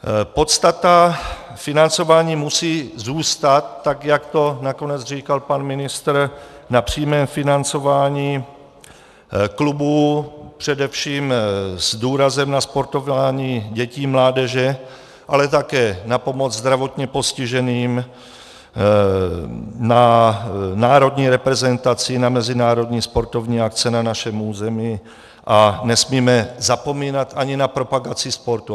Podstata financování musí zůstat, tak jak to nakonec říkal pan ministr, na přímém financování klubů, především s důrazem na sportování dětí, mládeže, ale také na pomoc zdravotně postiženým, na národní reprezentaci, na mezinárodní sportovní akce na našem území a nesmíme zapomínat ani na propagaci sportu.